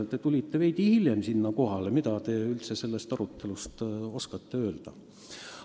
Te tulite veidi hiljem kohale, nii et mida te sellest arutelu kohta üldse oskate öelda.